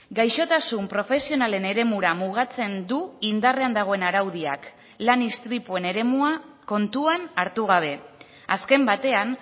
gaixotasun profesionalen eremura mugatzen du indarrean dagoen araudiak lan istripuen eremua kontuan hartu gabe azken batean